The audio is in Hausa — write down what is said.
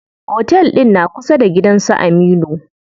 Otel ɗin na kusa da gidan su Aminu.